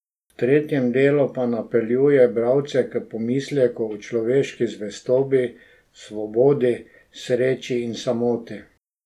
V tretjem delu pa napeljuje bralce k premisleku o človeški zvestobi, svobodi, sreči in samoti.